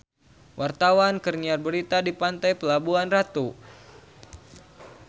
Wartawan keur nyiar berita di Pantai Pelabuhan Ratu